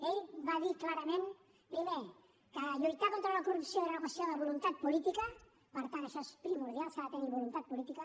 ell va dir clarament primer que lluitar contra la corrupció era una qüestió de voluntat política per tant això és primordial s’ha de tenir voluntat política